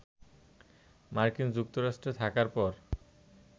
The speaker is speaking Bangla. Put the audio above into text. মার্কিন যুক্তরাষ্ট্রে থাকার পর